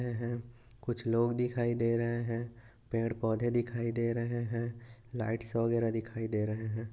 हे हे कुछ लोग दिखाई दे रहे है पेड़ पौधे दिखाई दे रहे है लाइटस वैगेरे दिखाई दे रहे है।